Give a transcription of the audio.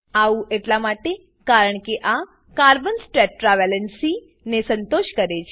આવું એટલા માટે કારણકે આ કાર્બન્સ ટેટ્રા વેલેન્સી ને સંતોષ કરે છે